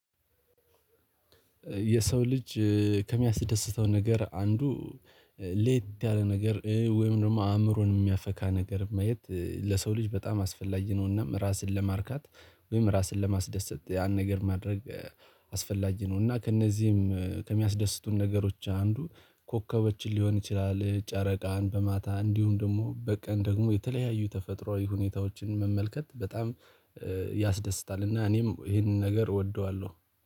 የሰው ልጅ ከሚያስደስተው ነገር አንዱ ለየት ያለ ነገር ወይም ደግሞ አእምሮን የሚያፈካ ነገር ማየት ለሰው ልጅ በጣም አስፈላጊ ነውና ራስን ለማርካት ወይም ራስን ለማስደሰት ያን ነገር ማድረግ አስፈላጊ ነው። እና ከእነዚህም ከሚያስደስቱን ነገሮች አንዱ ኮከቦችን ሊሆን ይችላል ጨረቃን በማታ እንዲሁም ደግሞ በቀን ደግሞ የተለያዩ ተፈጥሮአዊ ሁኔታዎችን መመልከት በጣም ያስደስታል። እና እኔም ይሄንን ነገር እወደዋለሁ